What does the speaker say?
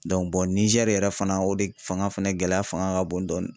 Dɔnku bɔn nizɛri yɛrɛ fana o de fanga fɛnɛ gɛlɛya fanga ka bon dɔɔni